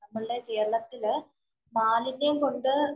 നമ്മളുടെ കേരളത്തില് മാലിന്യം കൊണ്ട്